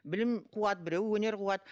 білім қуады біреуі өнер қуады